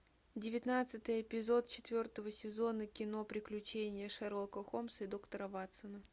девятнадцатый эпизод четвертого сезона кино приключения шерлока холмса и доктора ватсона